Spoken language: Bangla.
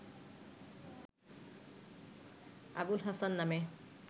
আবুল হাসান নামে